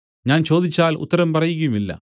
ഞാൻ ചോദിച്ചാൽ ഉത്തരം പറയുകയുമില്ല